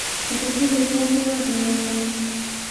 etubulutua mbuka temukunta